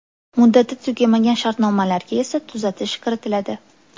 Muddati tugamagan shartnomalarga esa tuzatish kiritiladi.